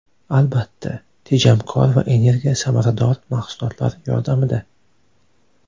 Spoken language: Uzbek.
Albatta, tejamkor va energiya samarador mahsulotlar yordamida.